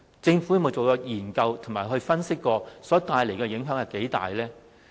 政府有否研究並分析這改變所帶來的影響有多大呢？